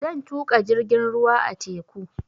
Zan tuƙa jirgin ruwa a teku